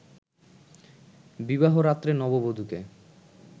বিবাহরাত্রে নববধুকে